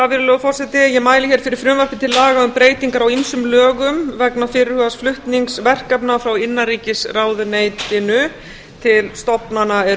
virðulegur forseti ég mæli fyrir frumvarpi til laga um breytingar á ýmsum lögum vegna fyrirhugaðs flutnings verkefna frá innanríkisráðuneytinu til stofnana sem